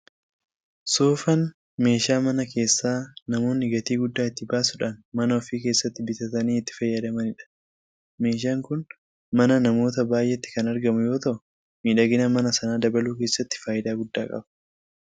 Soofaan meeshaa mana keessaa namoonni gatii guddaa itti baasuudhaan mana ofii keessatti bitatanii itti fayyadamanidha. Meeshaan kun mana namoota baay'eetti kan argamu yoota'u miidhagina mana sanaa dabaluu keessattis faayidaa guddaa qaba.